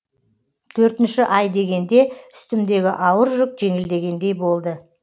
төртінші ай дегенде үстімдегі ауыр жүк жеңілдегендей болды